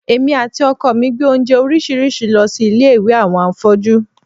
Èmi àti ọkọ mi gbé oúnjẹ oríṣiríṣi lọ sí ilé àwọn afọ́jú